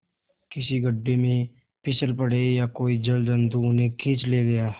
किसी गढ़े में फिसल पड़े या कोई जलजंतु उन्हें खींच ले गया